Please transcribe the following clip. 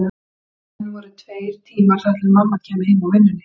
Enn voru tveir tímar þar til mamma kæmi heim úr vinnunni.